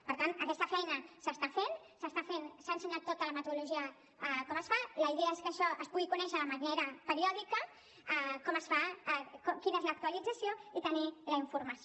per tant aquesta feina s’està fent s’ha ensenyat tota la metodologia com es fa la idea és que això es pugui conèixer de manera periòdica com es fa quina és l’actualització i tenir la informació